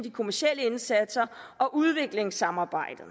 de kommercielle indsatser og udviklingssamarbejdet